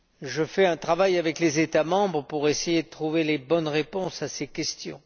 Je collabore avec les États membres pour essayer de trouver les bonnes réponses à ces questions.